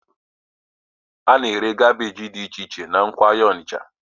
A na-ere kaabéji dị iche iche na nnukwu ahịa Onitsha